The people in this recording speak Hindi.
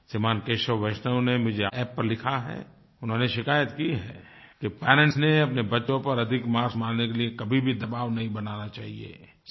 श्रीमान केशव वैष्णव ने मुझे App पर लिखा है उन्होंने शिकायत की है कि पेरेंट्स ने अपने बच्चों पर अधिक मार्क्स मांगने के लिए कभी भी दबाव नहीं बनाना चाहिये